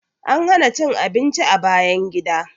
An hana cin abinci a bayan gida.